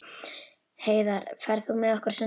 Heiðar, ferð þú með okkur á sunnudaginn?